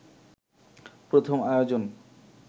প্রথম আয়োজন